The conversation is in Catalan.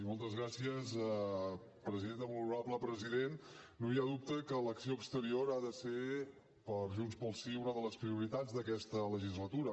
molt honorable president no hi ha dubte que l’acció exterior ha de ser per junts pel sí una de les prioritats d’aquesta legislatura